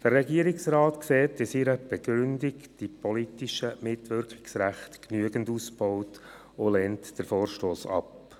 Der Regierungsrat sieht in seiner Begründung die politischen Mitwirkungsrechte genügend ausgebaut und lehnt diesen Vorstoss ab.